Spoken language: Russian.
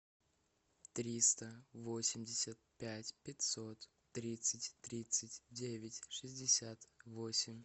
триста восемьдесят пять пятьсот тридцать тридцать девять шестьдесят восемь